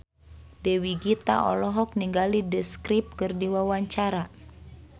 Dewi Gita olohok ningali The Script keur diwawancara